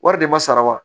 Wari de ma sara wa